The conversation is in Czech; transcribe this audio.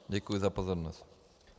Děkuji za pozornost.